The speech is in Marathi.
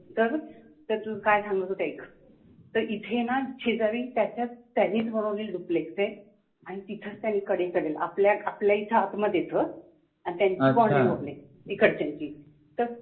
तर, तुला काय सांगत होते एक. तर इथे जा शेजारी त्याच्या त्यांनीच बनवलेली duplex आहे. आणि तिथंच आहे कदेकडेला, आपल्याइथ आतमध्येच ह आणि त्यांची boundary wall आहे, तिकडच्यांची